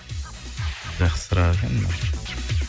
жақсы сұрақ екен мынау